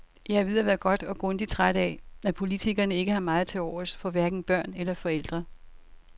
Jeg er ved at være godt og grundig træt af, at politikerne ikke har meget tilovers for hverken børn eller forældre.